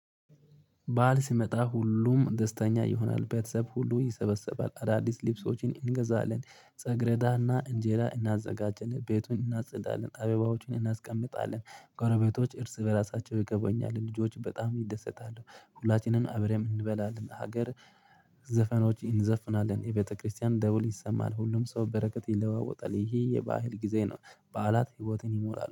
በዓል ሲመጣ ሁሉም ደስተኛ ይሆናል ቤተሰብ ሁሉ ይሰበሰባል አዳዲስ ልብሶችን እንገዛለን ፀግረዳና እንጀራ እናዘጋጅን ቤቱን እናጸዳለን አበባዎቹን እናስቀምጣለን ጎረቤቶች እርስ በራሳቸው ይገባኛል ልጆች በጣም ይደሰታሉ ሁላችንም አብረን እንበላለን። ሀገር ዘፈኖች እንዘፍናለን የቤተክርስቲያን ደውል ይሰማል ሁሉም ሰው በረከት ይለዋወጣል ይሄ የባህል ጊዜ ነው። በዓላት ህይወትን ይሞላሉ